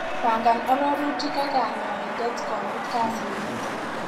Pangan arorutik ak kanyaindet komut kasit nito.